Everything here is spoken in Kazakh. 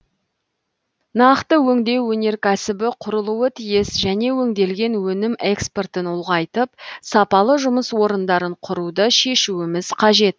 нақты өңдеу өнеркәсібі құрылуы тиіс және өңделген өнім экспортын ұлғайтып сапалы жұмыс орындарын құруды шешуіміз қажет